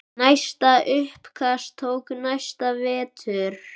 Næsta uppkast tók næsta vetur.